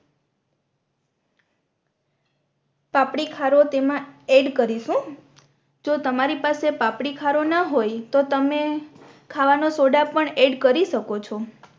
પાપડી ખારો તેમા એડ કરીશુ જો તમારી પાસે પાપડી ખારો ના હોય તો તમે ખાવાનો સોદા પણ એડ કરી શકો છો